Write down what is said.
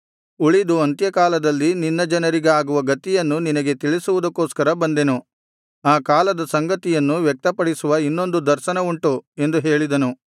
ಉಳಿದು ಅಂತ್ಯಕಾಲದಲ್ಲಿ ನಿನ್ನ ಜನರಿಗಾಗುವ ಗತಿಯನ್ನು ನಿನಗೆ ತಿಳಿಸುವುದಕ್ಕೋಸ್ಕರ ಬಂದೆನು ಆ ಕಾಲದ ಸಂಗತಿಯನ್ನು ವ್ಯಕ್ತಪಡಿಸುವ ಇನ್ನೊಂದು ದರ್ಶನವುಂಟು ಎಂದು ಹೇಳಿದನು